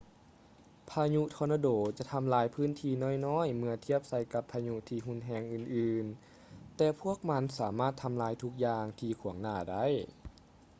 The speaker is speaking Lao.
ພາຍຸທໍນາໂດຈະທຳລາຍພື້ນທີ່ນ້ອຍໆເມື່ອທຽບໃສ່ກັບພາຍຸທີ່ຮຸນແຮງອື່ນໆ ແຕ່ພວກມັນສາມາດທຳລາຍທຸກຢ່າງທີ່ຂວາງໜ້າໄດ້